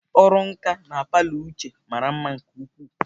Ọrụ nka na palọ Uche mara mma nke ukwuu.